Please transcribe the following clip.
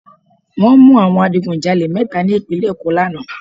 Wọ́n mú àwọn adigun jalè mẹ́ta ní ìpínlẹ̀ Èkó lánàá